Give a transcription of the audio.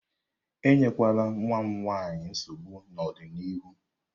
Enyekwala nwa m nwanyị nsogbu n'ọdịnihu!